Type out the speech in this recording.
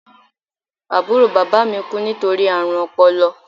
Àbúrò bàbá mi kú nítorí àrùn ọpọlọ